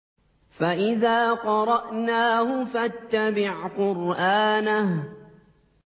فَإِذَا قَرَأْنَاهُ فَاتَّبِعْ قُرْآنَهُ